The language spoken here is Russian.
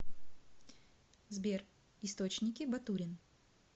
сбер источники батурин